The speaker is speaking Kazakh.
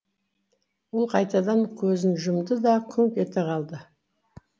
ол қайтадан көзін жүмды да күңк ете қалды